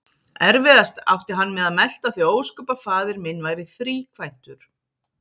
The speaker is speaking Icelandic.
Erfiðast átti hann með að melta þau ósköp að faðir minn væri þríkvæntur.